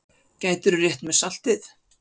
Gætirðu rétt mér saltið?